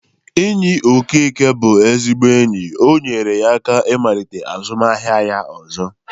Enyi Okeke bụ ezigbo enyi. O nyere ya aka malite azụmaahịa ya ọzọ.